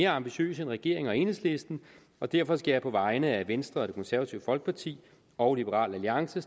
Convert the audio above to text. ambitiøse end regeringen og enhedslisten og derfor skal jeg på vegne af venstre og det konservative folkeparti og liberal alliance